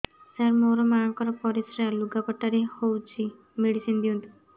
ସାର ମୋର ମାଆଙ୍କର ପରିସ୍ରା ଲୁଗାପଟା ରେ ହଉଚି ମେଡିସିନ ଦିଅନ୍ତୁ